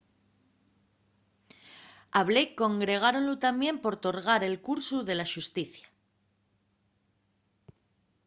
a blake condergáronlu tamién por torgar el cursu de la xusticia